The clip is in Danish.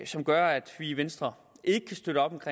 som gør at vi i venstre ikke kan støtte op